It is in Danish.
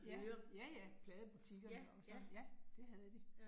Ja, ja ja. Pladebutikkerne og sådan, ja, det havde de